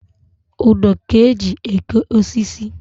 Ụdọ ka-eji eke osisi.